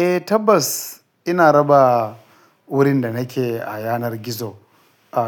Eh tabbas ina raba wurin da nake a yanar gizo.